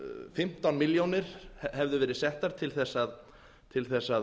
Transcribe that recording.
fimmtán milljónir hefðu verið settar til að